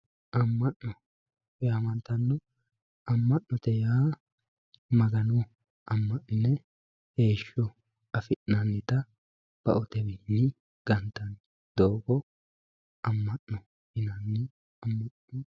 Ama'no yamantano, ama'no yamattano yaa Magano ama'nine heeshsho affi'nanitta baoteni gantani doogo ama'no yinanni.